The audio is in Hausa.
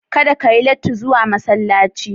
Kada ka yi latti zuwa masallaci.